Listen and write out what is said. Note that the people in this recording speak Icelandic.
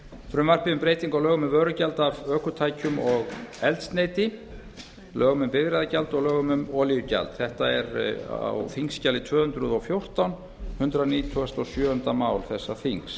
frumvarpi til laga um breyting á lögum um vörugjald af ökutækjum og eldsneyti lögum um bifreiðagjald og lögum um olíugjald það er á þingskjali tvö hundruð og fjórtán hundrað nítugasta og sjöunda mál þessa þings